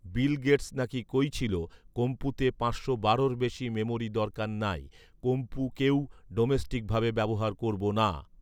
বিল Gates নাকি কৈছিলো, কম্পুতে পাঁচশো বারোর বেশি মেমরি দরকার নাই, কম্পু কেউ ডোমেস্টিক ভাবে ব্যাবহার করব না